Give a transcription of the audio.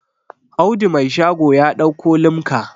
Audu Mai shago ya dauko limka